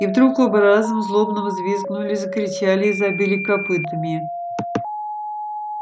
и вдруг оба разом злобно взвизгнули закричали и забили копытами